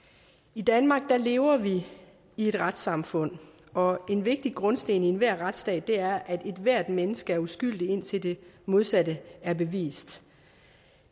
i danmark lever vi i et retssamfund og en vigtig grundsten i enhver retsstat er at ethvert menneske er uskyldigt indtil det modsatte er bevist